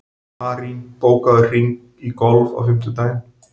Marín, bókaðu hring í golf á fimmtudaginn.